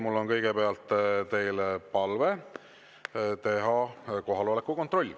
Mul on kõigepealt teile palve teha kohaloleku kontroll.